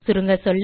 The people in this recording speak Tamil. சுருங்கசொல்ல